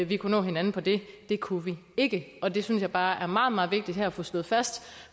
vi kunne nå hinanden på det det kunne vi ikke og det synes jeg bare er meget meget vigtigt her at få slået fast